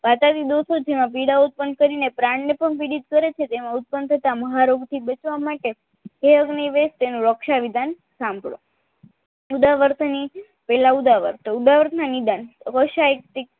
વાતાવરી દોષો જેવા પીડા ઉત્પન્ન કરી ને પ્રાણ ને પણ પીડિત કરે છે તેમાં ઉત્પન થતાં મહારોગો થી બચવા માટે તે યોગ ની તેનું રક્ષ વિધાન સાંભળો ઉદ્વર્તની પેહલા ઉદાવલ તો ઉદાવળ ના નિદાન